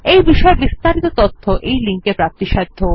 এই বিষয় বিস্তারিত তথ্য এই লিঙ্ক এ প্রাপ্তিসাধ্য